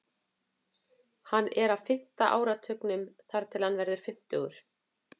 Hann er á fimmta áratugnum þar til hann verður fimmtugur.